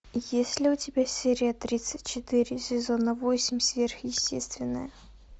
есть ли у тебя серия тридцать четыре сезона восемь сверхъестественное